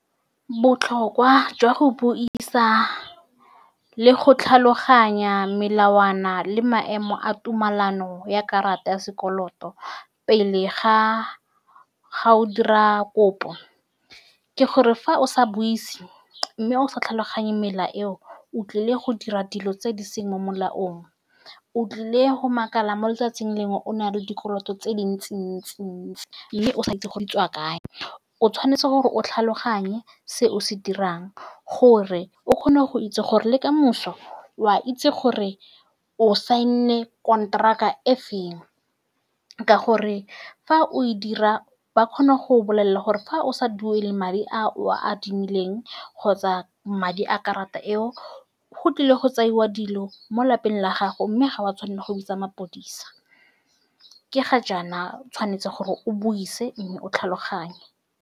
Botlhokwa jwa go buisa le go tlhaloganya melawana le maemo a tumelano ya karata ya sekoloto pele ga-ga o dira kopo, ke gore fa o sa buise mme o sa tlhaloganye melao eo, o tlile go dira dilo tse di seng mo molaong. O tlile go makala mo letsatsing lengwe, o na le dikoloto tse dintsi-ntsi-ntsi mme o sa itse gore di tswa kae. O tshwanetse gore o tlhaloganye se o se dirang, gore o kgone go itse gore le kamoso o a itse gore o sign-ile konteraka efeng. Ka gore fa o e dira, ba kgona go go bolelela gore fa o sa duele madi a o a adimileng kgotsa madi a karata eo, go tlile go tseiwa dilo mo lapeng la gago, mme ga wa tshwanela go bitsa mapodisa. Ke ga jaana o tshwanetse gore o buisa mme o tlhaloganye.